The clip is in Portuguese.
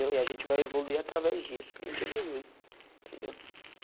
Eu e a gente vai evoluir através disso, que a gente evolui. Entendeu?